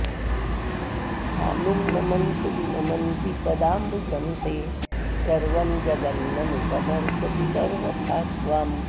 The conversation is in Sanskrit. भानुं नमन्तु विनमन्ति पदाम्बुजं ते सर्वं जगन्ननु समर्चति सर्वथा त्वाम्